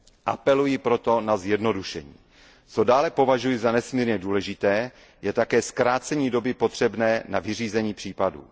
Apeluji proto na zjednodušení. Co dále považuji za nesmírně důležité, je také zkrácení doby potřebné na vyřízení případů.